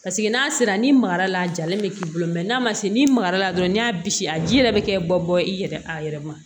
Paseke n'a sera ni magara la a jalen bɛ k'i bolo n'a ma se n'i magara la dɔrɔn n'i y'a bisi a ji yɛrɛ bɛ kɛ bɔ i yɛrɛ a yɛrɛ ma